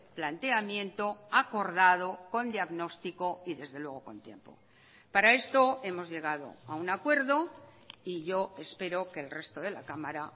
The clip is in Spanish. planteamiento acordado con diagnóstico y desde luego con tiempo para esto hemos llegado a un acuerdo y yo espero que el resto de la cámara